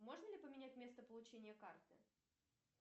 можно ли поменять место получения карты